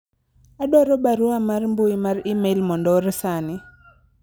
adwaro barua mar mbui mar email mondo oor sani